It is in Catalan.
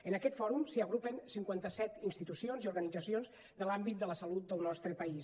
en aquest fòrum s’hi agrupen cinquanta set institucions i organitzacions de l’àmbit de la salut del nostre país